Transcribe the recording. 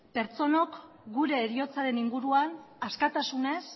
pertsonok gure heriotzaren inguruan askatasunez